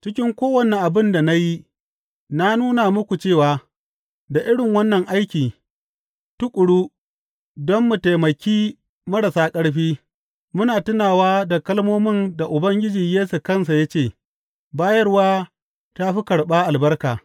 Cikin kowane abin da na yi, na nuna muku cewa da irin wannan aiki tuƙuru don mu taimaki marasa ƙarfi, muna tunawa da kalmomin da Ubangiji Yesu kansa ya ce, Bayarwa ta fi karɓa albarka.’